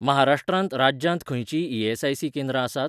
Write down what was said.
महाराष्ट्र राज्यांत खंयचींय ई.एस.आय.सी. केंद्रां आसात?